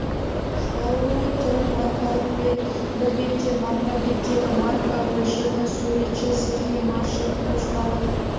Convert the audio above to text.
шығарылу түрі маркалық бет бір бетте марка беттегі марка өлшемі суретші сергей маршев пошталық